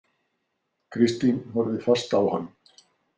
Kristín horfði fast á hann.